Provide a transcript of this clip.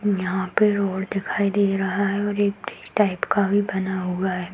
यहाँ पे रोड दिखाई दे रहा है और एक टाइप का बना हुआ है।